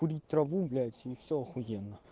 курить траву блять и всё ахуенно